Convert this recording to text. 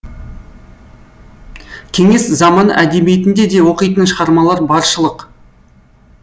кеңес заманы әдебиетінде де оқитын шығармалар баршылық